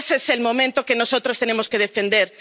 Ese es el momento que nosotros tenemos que defender.